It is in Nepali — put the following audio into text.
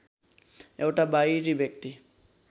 एउटा बाहिरी व्यक्ति